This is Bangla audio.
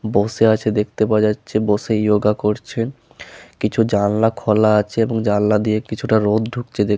বসে আছে দেখতে পাওয়া যাচ্ছে। বসেই যোগা করছে। কিছু জানলা খোলা আছে এবং জানলা দিয়ে কিছুটা রোদ ঢুকছে দে--